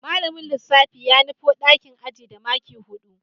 Malamin lissafi ya nufo dakin ajin da maki hudu